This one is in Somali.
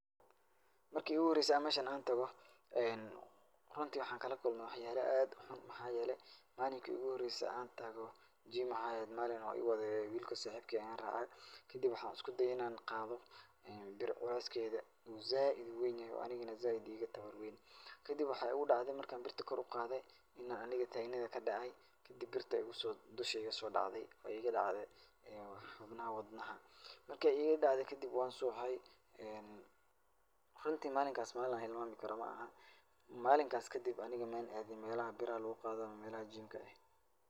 Markii iigu horaysa an meeshan aan tago runtii waxa aan kala kulmay wax yaalo aad u xun maxaa yeelay malinkii iigu horaysay aan tago jimco ayaa eheed Malin oo iwaday wilko saaxiibkay aan raacay. Kadib waxaa usku dayay in aan qaado bir culayskeeda zaaid uweyn yahay oo anigana zaaid iiga tabar weyn. Kadib waxaa igu dhacday marka aan birta kor u qaaday inaan aniga taagnada ka dhacay, kadib birta ayaa igu soo, dushayda soo dhacday oo iiga dhacday xubnaha wadnaha. Marka iigaga dhacday kadib waan suuxay. Runtii maalinkaas malin aan hilmaami karo ma'aha. Maalinkaas kadib aniga maan aadin meelaha biraha lugu qaado ama meelaha jiimka eh.